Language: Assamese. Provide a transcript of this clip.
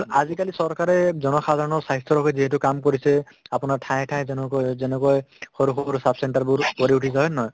কিন্তু আজিকালি চৰকাৰে জনসাধাৰণৰ স্ৱাস্থ্যৰ বাবে যিহেতু কাম কৰিছে আপোনাৰ ঠায়ে ঠায়ে যেনেকৈ যেনেকৈ সৰু সৰু sub center বোৰ গঢ়ি উঠিছে হয়নে নহয়